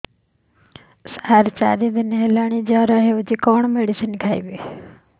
ସାର ଚାରି ଦିନ ହେଲା ଜ୍ଵର ହେଇଚି କଣ ମେଡିସିନ ଖାଇବି